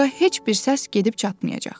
Ora heç bir səs gedib çatmayacaq.